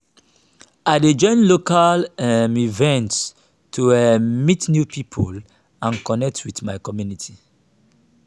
i dey join local um events to um meet new people and connect with my community.